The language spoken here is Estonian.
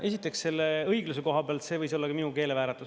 Esiteks, selle õigluse koha pealt: see võis olla ka minu keelevääratus.